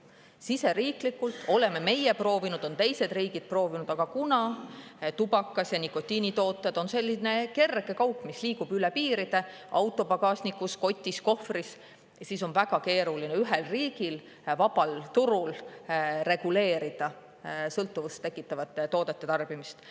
Siseriiklikult oleme meie proovinud, on teised riigid proovinud, aga kuna tubakas ja nikotiinitooted on selline kerge kaup, mis liigub üle piiride autopagasnikus, kotis, kohvris, siis on väga keeruline ühel riigil vabal turul reguleerida sõltuvust tekitavate toodete tarbimist.